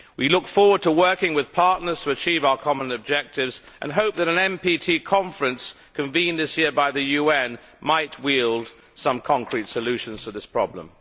We look forward to working with partners to achieve our common objectives and hope that an NPT conference convened this year by the UN might wield some concrete solutions to this problem.